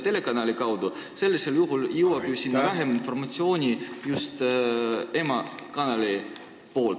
Ütleme niimoodi, et sellisel juhul jõuaks ju sinna vähem informatsiooni emakanalilt.